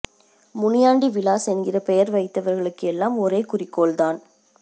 முனியாண்டி விலாஸ் என்கிற பெயர் வைத்தவர்களூக்கு எல்லாம் ஒரே குறிக்கோள் தான்